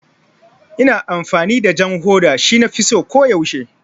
Ina amfani da jan hoda, shi nafi so ko yaushe